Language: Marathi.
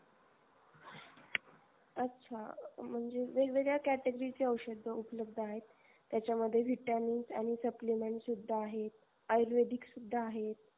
अच्छा म्हणजे वेगवेगळ्या category चे औषध उपलब्ध आहे त्याच्या मध्ये vitamins आणि Supplements सुद्धा आहे, आयुर्वेदिक सुद्धा आहे